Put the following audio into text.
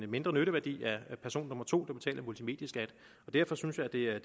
mindre nytteværdi af person nummer to der betaler multimedieskat og derfor synes jeg at det er